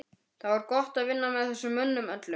Það var gott að vinna með þessum mönnum öllum.